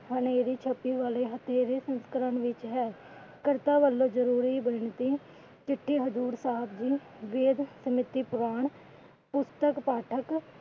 ਸੰਸਕਰਣ ਵਿੱਚ ਹੈ। ਕਰਤਾ ਵਲੋਂ ਜਰੂਰੀ ਬੇਨਤੀ ਕਿ ਜਿੱਥੇ ਹਜ਼ੂਰ ਸਾਹਿਬ ਜੀ ਵੇਦ ਸਮਿਤੀ ਪੁਰਾਣ । ਪੁਸਤਕ ਪਾਠਕ